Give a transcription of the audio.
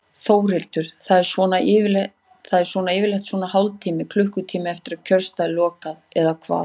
Þórhildur: Það er svona yfirleitt svona hálftíma, klukkutíma eftir að kjörstað er lokað eða hvað?